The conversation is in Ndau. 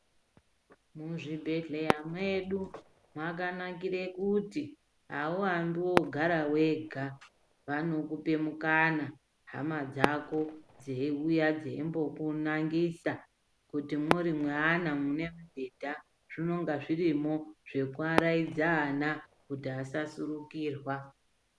Muzvibhedhleya mwedu mwakanakire kuti awuyambi ngokungo gara wega, vanokupe mukana hama dzako dzeiuya dzeimbokunangisa kuti muri mweana mune mibhedha zvinenga zvirimwo zvokuvaraidze vana kuti asa surukirwa.